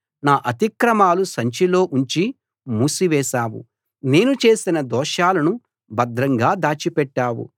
నా అతిక్రమాలు సంచిలో ఉంచి మూసివేశావు నేను చేసిన దోషాలను భద్రంగా దాచిపెట్టావు